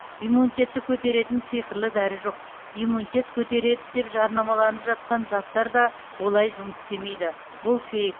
иммунитетті көтеретін сиқырлы дәрі жоқ иммунитет көтереді деп жарнамаланып жатқан заттар да олай жұмыс істемейді бұл фейк